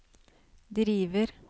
driver